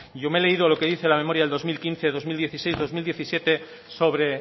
yo me he leído lo que dice la memoria del dos mil quince dos mil dieciséis dos mil diecisiete sobre